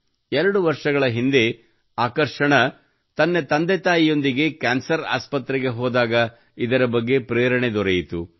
ಎರಡು ವರ್ಷಗಳ ಹಿಂದೆ ಆಕರ್ಷಣಾ ತನ್ನ ತಂದೆತಾಯಿಯೊಂದಿಗೆ ಕ್ಯಾನ್ಸರ್ ಆಸ್ಪತ್ರೆಗೆ ಹೋದಾಗ ಇದರ ಬಗ್ಗೆ ಪ್ರೇರಣೆ ದೊರೆಯಿತು